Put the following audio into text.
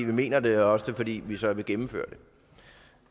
vi mener det og også fordi vi så vil gennemføre det